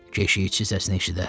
Keşikçi səsini eşidər.